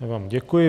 Já vám děkuji.